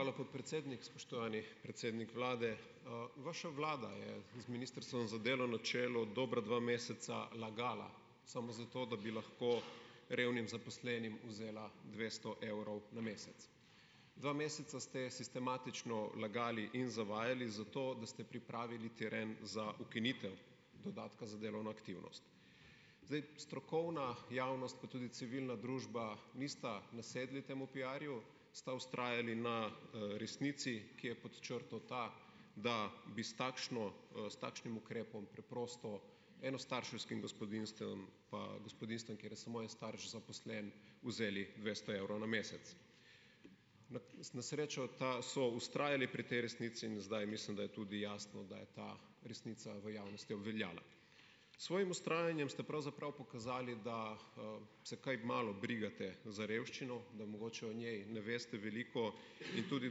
Hvala, podpredsednik. Spoštovani predsednik vlade. Vaša vlada je z Ministrstvom za delo na čelu, dobra dva meseca lagala, samo zato, da bi lahko revnim zaposlenim vzela dvesto evrov na mesec. Dva meseca ste sistematično lagali in zavajali, zato da ste pripravili teren za ukinitev dodatka za delovno aktivnost. Zdaj, strokovna javnost, pa tudi civilna družba nista nasedli temu piarju, sta vztrajali na, resnici, ki je pod črto ta, da bi s takšno, s takšnim ukrepom preprosto enostarševskim gospodinjstvom, pa gospodinjstvom, kjer je samo en starš zaposlen, vzeli dvesto evrov na mesec. Na na srečo ta so vztrajali pri tej resnici in zdaj, mislim, da je tudi jasno, da je ta resnica v javnosti obveljala. S svojim vztrajanjem ste pravzaprav pokazali, da, se kaj malo brigate za revščino, da mogoče o njej ne veste veliko in tudi,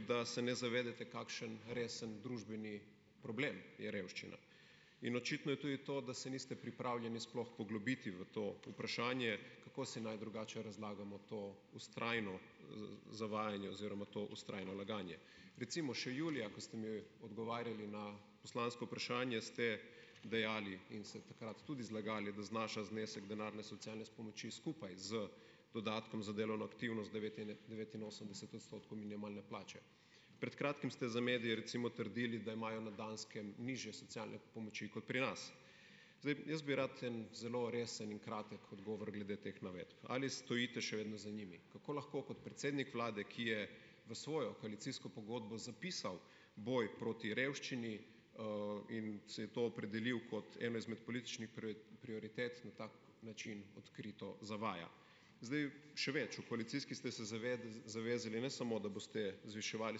da se ne zavedate, kakšen resen družbeni problem je revščina, in očitno je tudi to, da se niste pripravljeni sploh poglobiti v to vprašanje - kako si naj drugače razlagamo to vztrajno zavajanje oziroma to vztrajno laganje? Recimo, še julija, ko ste mi odgovarjali na poslansko vprašanje, ste dejali in se takrat tudi zlagali, da znaša znesek denarne socialne pomoči skupaj z dodatkom za delovno aktivnost devetinosemdeset odstotkov minimalne plače. Pred kratkim ste za medije recimo trdili, da imajo na Danskem nižje socialne pomoči kot pri nas. Zdaj, jaz bi rad en zelo resen in kratek odgovor glede teh navedb. Ali stojite še vedno za njimi? Kako lahko kot predsednik vlade, ki je v svojo koalicijsko pogodbo zapisal boj proti revščini, in se je to opredelil kot eno izmed političnih prioritet, na tak način odkrito zavaja. Zdaj, še več, v koalicijski ste se zavezali ne samo da boste zviševali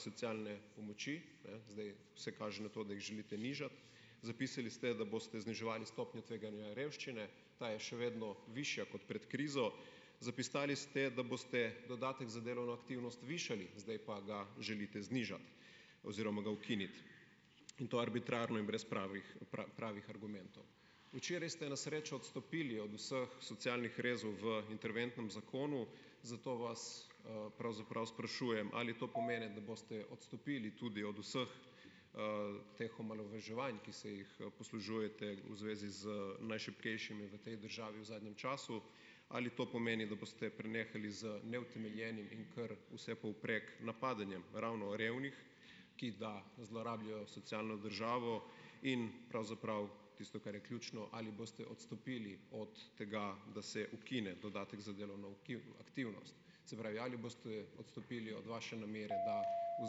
socialne pomoči, zdaj vse kaže na to, da jih želite nižati. Zapisali ste, da boste zniževali stopnjo tveganja revščine, ta je še vedno višja kot pred krizo. Zapisali ste, da boste dodatek za delovno aktivnost višali, zdaj pa ga želite znižati oziroma ga ukiniti, in to arbitrarno in brez pravih pravih argumentov. Včeraj ste na srečo odstopili od vseh socialnih rezov v interventnem zakonu, zato vas, pravzaprav sprašujem: Ali to pomeni, da boste odstopili tudi od vseh, teh omalovaževanj, ki se jih poslužujete v zvezi z najšibkejšimi v tej državi v zadnjem času? Ali to pomeni, da boste prenehali z neutemeljenim in kar vsepovprek napadanjem ravno revnih, ki da zlorabljajo socialno državo, in pravzaprav, tisto, kar je ključno, ali boste odstopili od tega, da se ukine dodatek za delovno aktivnost? Se pravi, ali boste odstopili od vaše namere, da pa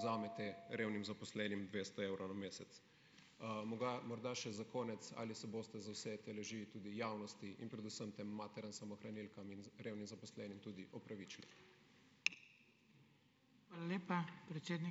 vzamete revnim zaposlenim dvesto evrov na mesec. morda še za konec. Ali se boste za vse te laži tudi javnosti in predvsem tem materam samohranilkam in revnim zaposlenim tudi opravičili?